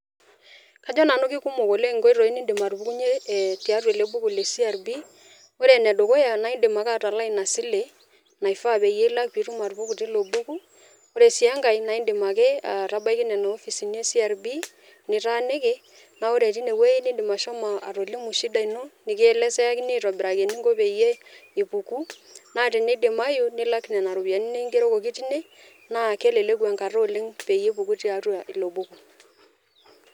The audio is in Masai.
Kajo nanu kikumok inkoitoi ninim atupukunyie tiatua ele buku le CRB . Ore ene dukuya naa indim ake atalaa inaa sile naifaa pilak pitum atupuku tilo buku. Ore sii enkae naa indim ake atabaiki nena kopisini e CRB nitaaniki naa ore tine wuei naa indim ashomo atolimu shida ino , nikielezeakini aitobiraki eninko peyie ipuku naa teniimayu nilak nena ropiyianini kingerokoki tine naa keleku enkata oleng peyie ipuku tiatua ilo buku.